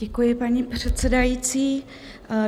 Děkuji, paní předsedající.